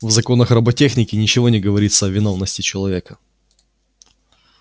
в законах роботехники ничего не говорится о виновности человека